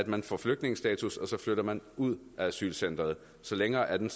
man får flygtningestatus og så flytter man ud af asylcentret så længere er den